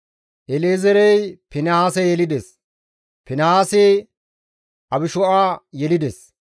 El7ezeerey Finihaase yelides; Finihaasi Abishu7a yelides;